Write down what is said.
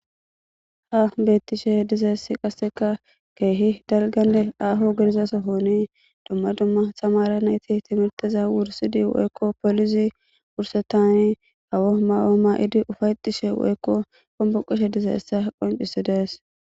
Ha beettishe dizaessi qasseka keehi dalganne aaho girizaso hooni dumma dumma samara nayti timirtiza wursidi woykko poolisi wursetani gawo mawaoma idi ufaytishe woykko qomboqishe dizeessa qoncisi dees.